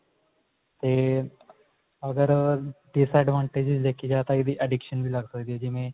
ਤੇ ਅਗਰ disadvantage ਦੇਖੀ ਜਾਵੇ ਤਾਂ ਇਹਦੀ addiction ਵੀ ਲੱਗ ਸਕਦੀ ਆ ਜਿਵੇਂ